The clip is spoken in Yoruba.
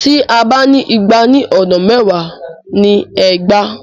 Tí a bá ń igba ní ọ̀nà mẹ́wàá ni ẹgbàá.